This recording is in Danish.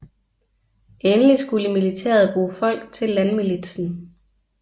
Endelig skulle militæret bruge folk til landmilitsen